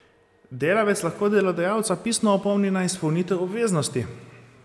Delavec lahko delodajalca pisno opomni na izpolnitev obveznosti.